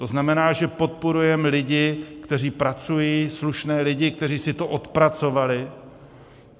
To znamená, že podporujeme lidi, kteří pracují, slušné lidi, kteří si to odpracovali.